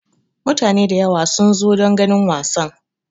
Mutane da yawa sun zo don ganin wasan.